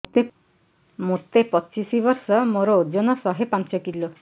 ମୋତେ ପଚିଶି ବର୍ଷ ମୋର ଓଜନ ଶହେ ପାଞ୍ଚ କିଲୋ